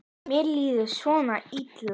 Mér líður svo illa